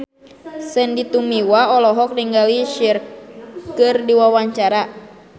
Sandy Tumiwa olohok ningali Cher keur diwawancara